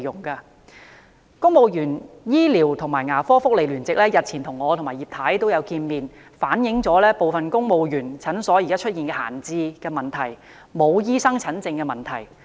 公務員醫療及牙科福利聯席日前與我和葉劉淑儀議員會面時反映部分公務員診所現時出現閒置及沒有醫生診症的問題。